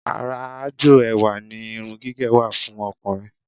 Ara aájò ẹwà ni irun gígẹ̀ wà fún ọkùnrin